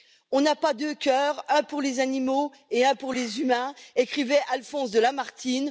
On n'a pas deux cœurs un pour les animaux et un pour les humains, écrivait Alphonse de Lamartine.